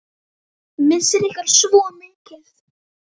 Missir ykkar er svo mikill.